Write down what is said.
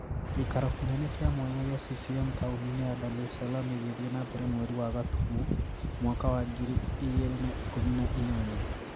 Gĩikaro kĩnene kĩa mwanya gĩa CCM taũni-inĩ ya Dar ES Salaam gĩgĩthiĩ na mbere mweri wa gatumu mwaka wa ngiri igĩrĩ na ikũmi na inyanya